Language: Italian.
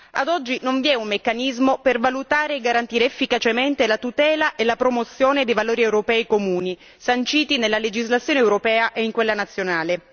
Ad oggi non vi è un meccanismo per valutare e garantire efficacemente la tutela e la promozione dei valori europei comuni, sanciti nella legislazione europea e in quella nazionale.